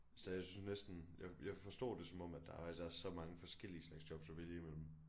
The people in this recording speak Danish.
Så jeg synes næsten jeg jeg forstod det som om at der er så mange forskellige slags jobs at vælge imellem